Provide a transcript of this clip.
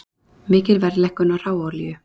Mikil verðlækkun á hráolíu